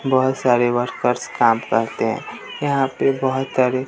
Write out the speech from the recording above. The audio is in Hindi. बहुत सारे वर्क्स काम करते यहां पे बहोत सारे--